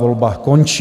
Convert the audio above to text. Volba končí.